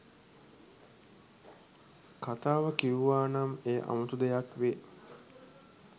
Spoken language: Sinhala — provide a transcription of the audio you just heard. කතාව කිව්වා නම් එය අමුතු දෙයක් වේ.